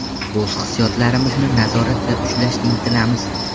O‘z hissiyotlarimizni nazoratda ushlashga intilamiz”.